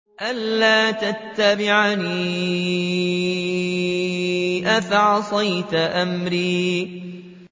أَلَّا تَتَّبِعَنِ ۖ أَفَعَصَيْتَ أَمْرِي